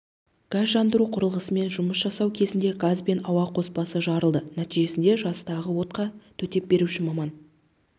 газ жандыру құрылғысымен жұмыс жасау кезінде газ бен ауа қоспасы жарылды нәтижесінде жастағы отқа төтепберуші маман